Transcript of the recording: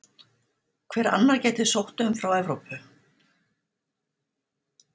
Hver annar gæti sótt um frá Evrópu?